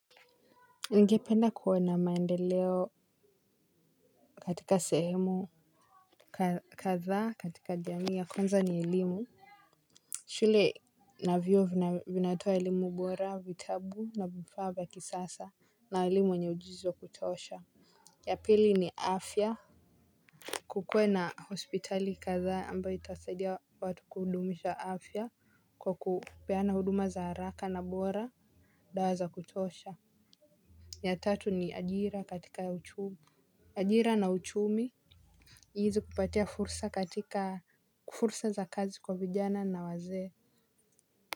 Ningependa kuona maendeleo katika sehemu kadhaa katika jamii ya kwanza ni elimu shule na vyu vinatoa elimu bora vitabu na vifaa vya kisasa na walimu wenye ujuzi kutosha. Ya pili ni afya kukue na hospitali kadhaa ambayo itasadia watu kudumisha afya kwa kupeana huduma za haraka na bora dawa za kutosha. Ya tatu ni ajira katika uchumi ajira na uchumi hizi kupatia fursa katika fursa za kazi kwa vijana na wazee.